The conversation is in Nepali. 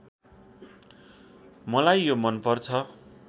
मलाई यो मनपर्छ